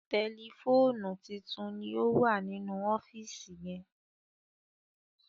Tẹlifóònù títún ní owa nínú ọfiisi yén